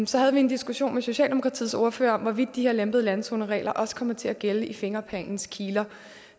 så havde vi en diskussion med socialdemokratiets ordfører om hvorvidt de her lempede landzoneregler også kommer til at gælde i fingerplanens kiler